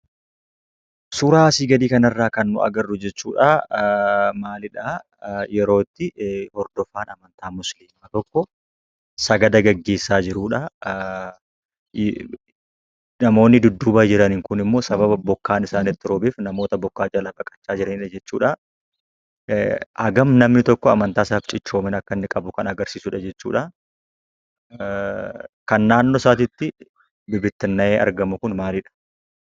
Suuraa asi gadi kanarra kan nuyi arginu jechuudha, yeroo itti hordoofan amantaa musiilima tokko sagada geggeessa jirudha. namoonni dudduba jiran kunimmo sababa bokkaan isaanitti roobeef, namoota bokka jalaa baqachaa jiranidha jechuudha. hagam namni tokko amantaa isaatiif cichoomina akka qabu kan agarsiisu jechuudha. kan naannoo isaatitti bibittinna'ee argamu kun maaliidha?